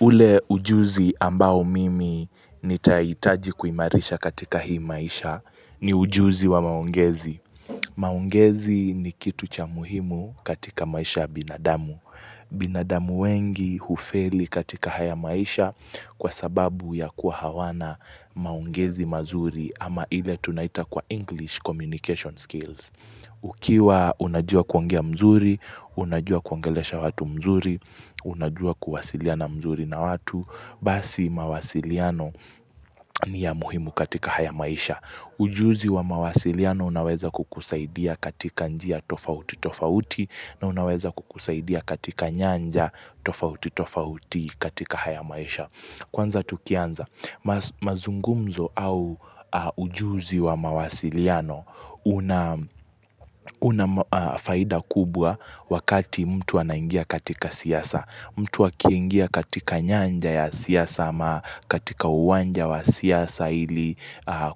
Ule ujuzi ambao mimi nitahitaji kuimarisha katika hii maisha ni ujuzi wa maongezi. Mangezi ni kitu cha muhimu katika maisha ya binadamu. Binadamu wengi hufeli katika haya maisha kwa sababu ya kuwa hawana maongezi mazuri ama ile tunaita kwa English communication skills. Ukiwa unajua kuongea mzuri, unajua kuongelesha watu mzuri, unajua kuwasiliana mzuri na watu Basi mawasiliano ni ya muhimu katika haya maisha Ujuzi wa mawasiliano unaweza kukusaidia katika njia tofauti tofauti na unaweza kukusaidia katika nyanja tofauti tofauti katika haya maisha Kwanza tukianza, mazungumzo au ujuzi wa mawasiliano unafaida kubwa wakati mtu anaingia katika siasa. Mtu akingia katika nyanja ya siasa ama katika uwanja wa siasa ili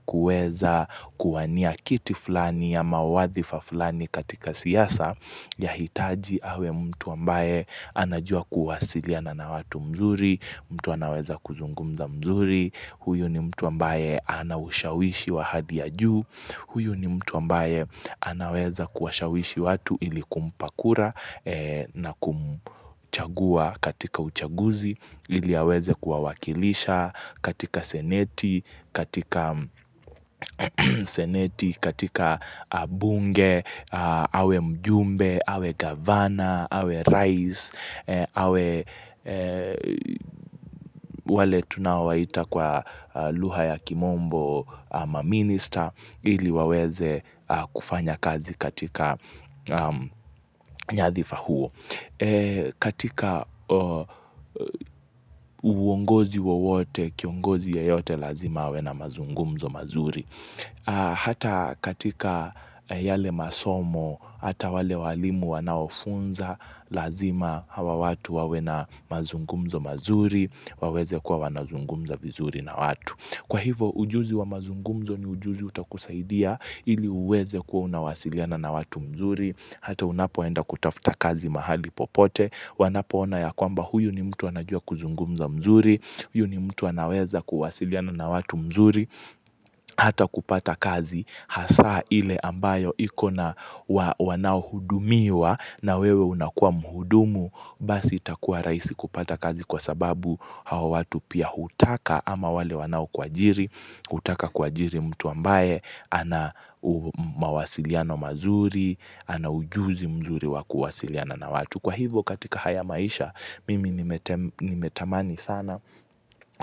kuweza kuwania kiti fulani ama wadhifa fulani katika siasa. Yahitaji awe mtu ambaye anajua kuwasiliana na watu mzuri mtu anaweza kuzungumza mzuri Huyu ni mtu ambaye anaushawishi wahali ya juu Huyu ni mtu ambaye anaweza kuwashawishi watu ili kumpa kura na kumchagua katika uchaguzi ili aweze kuwawakilisha katika seneti, katika seneti, katika bunge, awe mjumbe, awe gavana, awe raisi, awe wale tunawaita kwa lugha ya kimombo ma minister ili waweze kufanya kazi katika nyadhifa huo. Katika uongozi wawote, kiongozi yeyote, lazima awe na mazungumzo mazuri. Hata katika yale masomo, hata wale walimu wanaofunza, lazima hawa watu wawe na mazungumzo mazuri, waweze kuwa wanazungumza vizuri na watu. Kwa hivyo ujuzi wa mazungumzo ni ujuzi utakusaidia ili uweze kuwa unawasiliana na watu mzuri hata unapoenda kutafuta kazi mahali popote wanapoona ya kwamba huyu ni mtu anajua kuzungumza mzuri huyu ni mtu anaweza kuwasiliana na watu mzuri hata kupata kazi hasa ile ambayo ikona wanaohudumiwa na wewe unakuwa muhudumu basi itakuwa rahisi kupata kazi kwa sababu hawa watu pia hutaka ama wale wanaokuajiri hutaka kuajiri mtu ambaye ana mawasiliano mazuri, ana ujuzi mzuri wa kuwasiliana na watu. Kwa hivyo katika haya maisha mimi nimatamani sana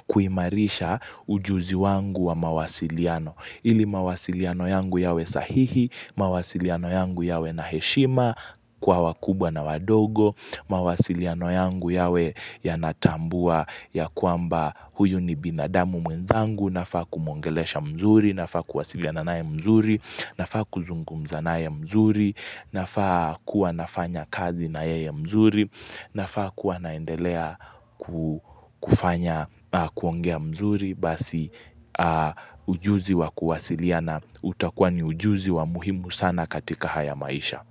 kuimarisha ujuzi wangu wa mawasiliano. Ili mawasiliano yangu yawe sahihi, mawasiliano yangu yawe na heshima kwa wakubwa na wadogo, mawasiliano yangu yawe yanatambua ya kwamba huyu ni binadamu mwenzangu, nafaa kumongelesha mzuri, nafaa kuwasiliana naye mzuri, nafaa kuzungumza naye mzuri, nafaa kuwa nafanya kazi nayeye mzuri, nafaa kuwanaendelea kufanya kuongea mzuri. Basi ujuzi wa kuwasilina utakuwa ni ujuzi wa muhimu sana katika haya maisha.